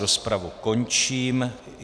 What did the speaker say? Rozpravu končím.